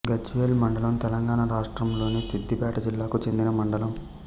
గజ్వేల్ మండలం తెలంగాణ రాష్ట్రంలోని సిద్దిపేట జిల్లాకు చెందిన మండలం